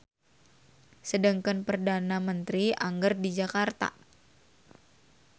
Sedengkeun perdana menteri angger di Jakarta.